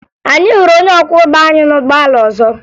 Anyị hụrụ onye ọkwọụgbọ anyị na ụgbọala ọzọ